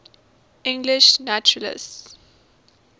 english naturalists